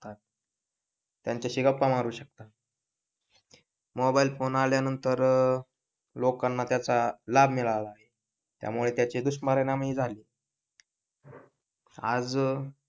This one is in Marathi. त्यांच्याशी गप्पा मारू शकता, मोबाईल फोन आल्यानंतर लोकांना त्याचा लाभ मिळाला आहे. त्यामुळे त्याचे दुष्परिणाम ही झालेत. आज,